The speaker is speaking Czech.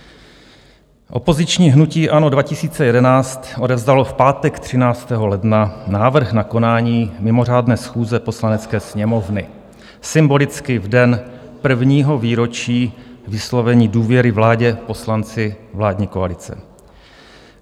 Opoziční hnutí ANO 2011 odevzdalo v pátek 13. ledna návrh na konání mimořádné schůze Poslanecké sněmovny, symbolicky v den prvního výročí vyslovení důvěry vládě poslanci vládní koalice.